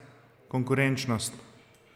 Konkurenčnost?